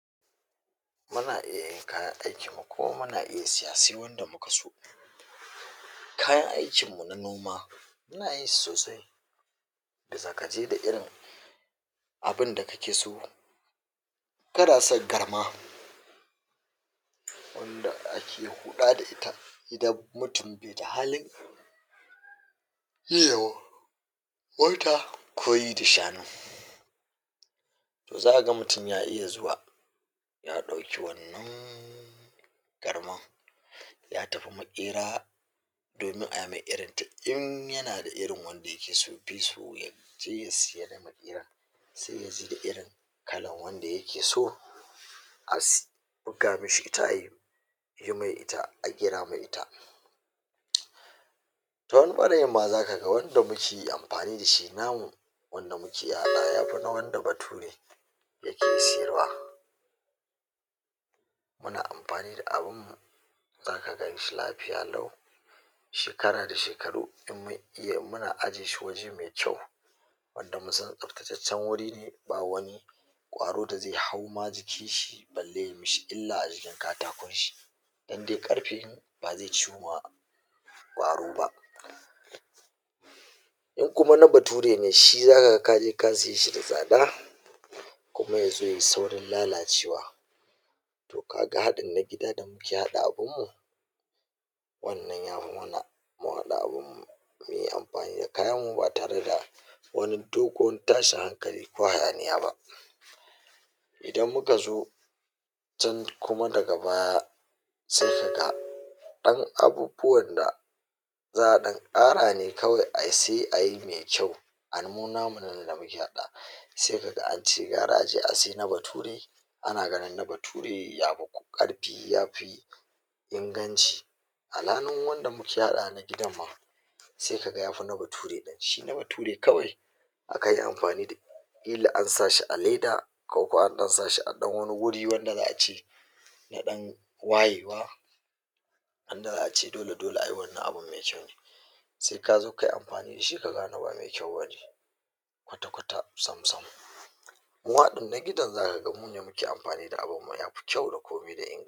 muna iya kayan aikin mu na noma, muna yin su sosai da zagaje da irin abin da kake so. Kana san karma wanda ake hula da ita idan mutum ta halin yiwo ko yi zaka ga mutum ya iya zuwa ya dauki garma ya tafi makera domin a yi mai irin ta. In yanada irin da yake so sai ya sayar ko ye, sai ya je da irin kalan wanda yake so a buga mishi ita, a yi mai ita, a gina mai ita. to in bani yi ma zaka ga wani lokaci amfani da shi namu wanda muke ala ya fi wanda batu dake siyarwa. Muna amfani da abin zaka ganshi lafiya lau shekara da shekaru. Muna ajiye shi waje mai kyau wanda mun san tsaftacaccen wuri, ba wani kwaro dai zai hau ma jikin shi balle ya mishi illa a jikin katakon shi, domin dai ƙarfe ba zai ciwu ba kwaro ba. In kuma na bature ne, shi zaka ga kaje ka siye da tsada kuma ya zo yayi saurin lalacewa. To kaga hadin na gida da muke haɗa abinmu, wannan ya fi mana mu haɗa abin mu mu yi amfani da kayan mu ba tare da wani dogon tashin hankali ko hayaniya ba. Idan ku ka zo can kuma daga baya sai kaga ɗan abu fa wanda za a ɗan ƙara ne kawai a siye a yi mai kyau. Amma namu nan da muke haɗa wa sai kaga an ce gara a je a siya na bature ana ganin na bature ya fi ƙarfi inganci alhali wanda muke a gidan ma sai kaga ya fi na bature. Shi na bature kawai aka yi amfani da kila an sa shi a leda ko ko an ɗan sa shi a ɗan wani guri wanda za a ce na ɗan wayewa haka. Wanda za a ce dole dole a yi wannan abin mai kyau sai ka zo kayi amfani da shi ka gane ba mai kyau bane kwata kwata sam sam. Mun haɗa na gidan zakaga mu ne muke amfani da abin nan mai kyau da